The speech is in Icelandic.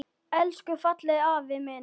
Elsku fallegi afi minn.